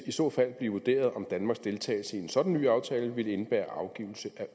i så fald blive vurderet om danmarks deltagelse i en sådan ny aftale ville indebære afgivelse af